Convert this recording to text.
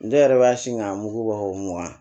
Ne yɛrɛ b'a sin ka mugu bɔ mugan